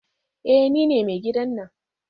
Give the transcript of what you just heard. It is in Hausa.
Eh nine mai gidan nan